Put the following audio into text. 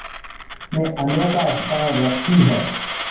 में अनोखा स्थान रखती है